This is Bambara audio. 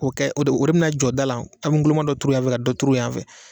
O kɛ o de o de bɛna jɔ da la an bɛ guloma dɔ turu yan fɛ ka dɔ turu yan fɛ